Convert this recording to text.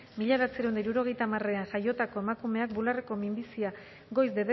mila bederatziehun eta hirurogeita hamarean jaiotako emakumeak bularreko minbizia goiz